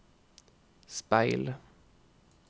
speil